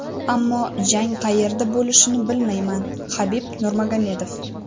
Ammo jang qayerda bo‘lishini bilmayman” Habib Nurmagomedov.